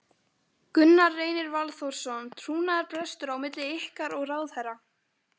Gunnar Reynir Valþórsson: Trúnaðarbrestur á milli ykkar og ráðherra?